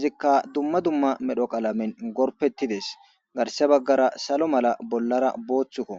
izikka dumma dumma medho qalamen gorpettides garse baggara salo mala bollara booththukko